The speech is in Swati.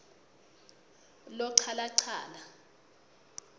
lochalachala